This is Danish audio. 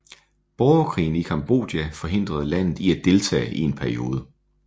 Borgerkrigen i Cambodja forhindrede landet i at deltage i en periode